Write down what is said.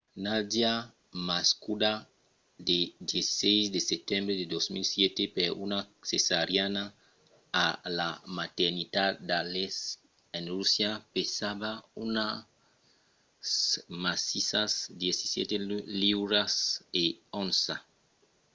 nadia nascuda lo 17 de setembre de 2007 per una cesariana a la maternitat d'aleisk en russia pesava unas massissas 17 liuras e 1 onça